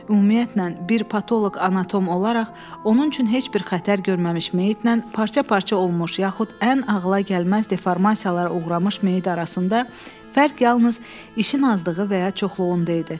Ümumiyyətlə, bir patoloq anatom olaraq onun üçün heç bir xətər görməmiş meyitlə parça-parça olmuş yaxud ən ağıla gəlməz deformasiyalara uğramış meyit arasında fərq yalnız işin azlığı və ya çoxluğunda idi.